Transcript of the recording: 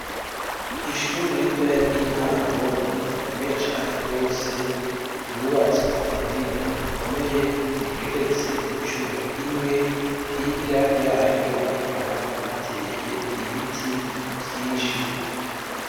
Ishure ritoya ry’intango rikomeye cane gose ryubatswe kubuhinga bukomeye rigeretse incuro imwe hirya yaryo hakaba hateye ibiti vyinshi.